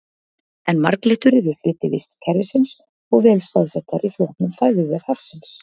En marglyttur eru hluti vistkerfisins og vel staðsettar í flóknum fæðuvef hafsins.